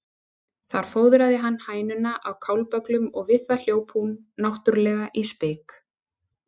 Þar fóðraði hann hænuna á kálbögglum og við það hljóp hún náttúrlega í spik.